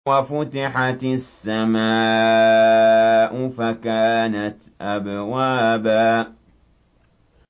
وَفُتِحَتِ السَّمَاءُ فَكَانَتْ أَبْوَابًا